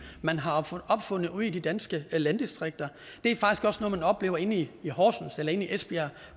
man har opfundet ude i de danske landdistrikter det er faktisk også noget man oplever i horsens eller esbjerg